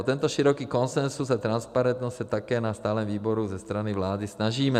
O tento široký konsenzus a transparentnost se také na stálém výboru ze strany vlády snažíme.